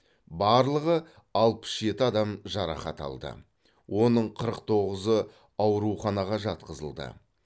барлығы алпыс жеті адам жарақат алды оның қырық тоғызы ауруханаға жатқызылды